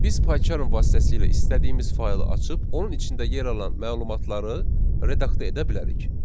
Biz PyCharm vasitəsilə istədiyimiz faylı açıb, onun içində yer alan məlumatları redaktə edə bilərik.